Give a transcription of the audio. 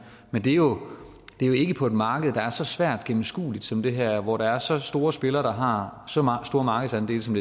men det er jo ikke på et marked der er så svært gennemskueligt som det her hvor der er så store spillere der har så stor markedsandel som